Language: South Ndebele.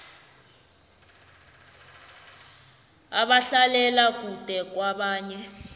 abahlalela kude kwabanye